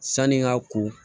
Sanni n ka ko